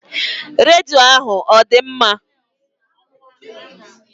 Redio ahụ ọ dị mma?